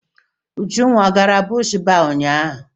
Ujunwa ọ gara bush baa ụnyaahụ?